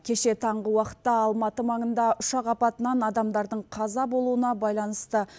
кеше таңғы уақытта алматы маңында ұшақ апатынан адамдардың қаза болуына байланысты